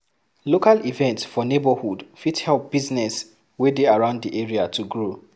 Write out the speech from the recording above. Local events for neigbohood fit help business wey dey around di area to grow